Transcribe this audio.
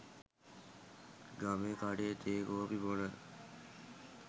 ගමේ කඬේ තේ කොපි බොන